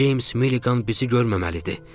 Ceyms Milliqan bizi görməməlidir.